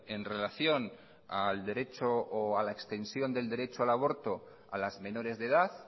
en relación al derecho o la extensión del derecho al aborto a las menores de edad